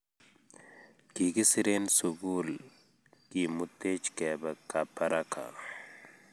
Kikisir en sukul kimutech kepe kabaraka